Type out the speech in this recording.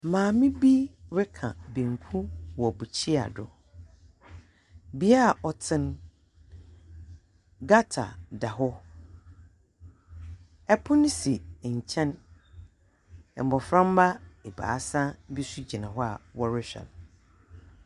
Maame bi reka banku wɔ mbukyia do. Bea a ɔtse no, gutter da hɔ. Pon si nkyɛn, mboframba ebiasa bi so gyina hɔ a wɔrohwɛ no.